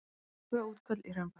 Tvö útköll í Hraunbæ